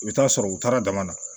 I bɛ taa sɔrɔ u taara dama na